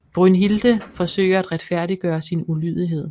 Brünnhilde forsøger at retfærdiggøre sin ulydighed